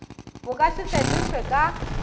bo ka se fetošwe ka